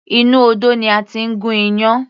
Inú odó ni a ti ń gún iyán.